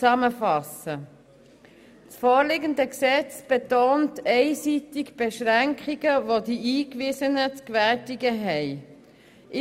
Das vorliegende Gesetz betont einseitig Beschränkungen, welche die Eingewiesenen zu gewärtigen haben.